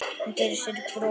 Hún gerir sér upp bros.